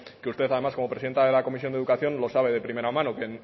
que usted además como presidenta de la comisión de educación lo sabe de primera mano que